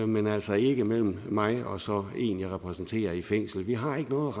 men altså ikke mellem mig og en jeg repræsenterer i et fængsel vi har ikke noget